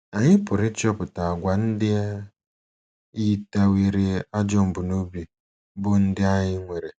Anyị pụrụ ịchọpụta àgwà ndị yitewere ajọ mbunobi bụ́ ndị anyị nwere?